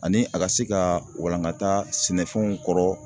Ani a ka se ka walangata sɛnɛfɛnw kɔrɔ